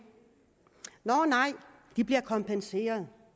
nå nej de bliver kompenseret